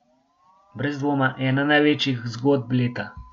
Brez dvoma ena največjih zgodb leta.